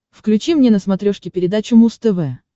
включи мне на смотрешке передачу муз тв